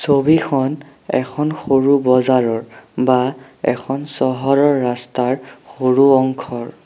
ছবিখন এখন সৰু বজাৰৰ বা এখন চহৰৰ ৰাস্তাৰ সৰু অংশৰ।